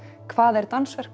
hvað dansverk